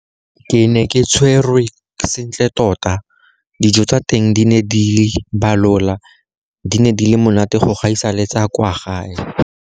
"Ke ne ke tshwerwe sentle tota. Dijo tsa teng di ne di balola - di ne di le monate go gaisa le tsa kwa gae."